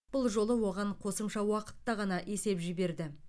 бұл жолы оған қосымша уақытта ғана есе жіберді